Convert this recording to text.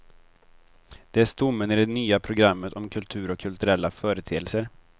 Det är stommen i det nya programmet om kultur och kulturella företeelser.